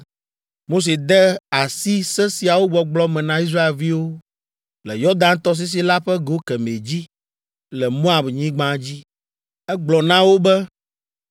Mose de asi se siawo gbɔgblɔ me na Israelviwo le Yɔdan tɔsisi la ƒe go kemɛ dzi, le Moabnyigba dzi. Egblɔ na wo be: